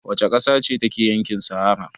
Wace ƙasa ce take a yankin sahara?